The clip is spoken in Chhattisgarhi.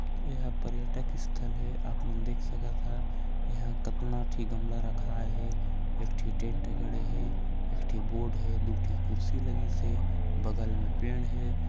ए हा पर्यटक स्थल हे आप मन देख सकत हा यहाँँ कतना ठी गमला रखाए हे एक ठी टेंट गड़े हे एक ठी बोर्ड हे दू ठि कुर्सी लगीस हे बगल में पेड़ हे।